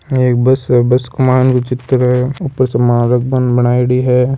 आ एक बस है बस के मायन को चित्र है ऊपर सामान रखबा ने बनाइडी हैं।